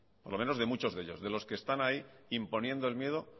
por lo menos de muchos de ellos de los que están ahí imponiendo el miedo